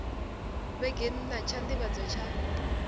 vhege nna tsha nḓivhadzo tsha